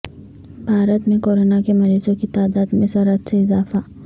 بھارت میں کورونا کے مریضوں کی تعداد میں سرعت سے اضافہ